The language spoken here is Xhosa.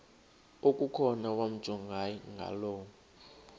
okukhona wamjongay ngaloo